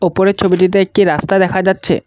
ওপরের ছবিটিতে একটি রাস্তা দেখা যাচ্ছে।